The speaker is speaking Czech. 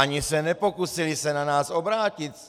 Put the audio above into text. Ani se nepokusili se na nás obrátit.